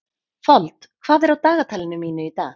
Fold, hvað er á dagatalinu mínu í dag?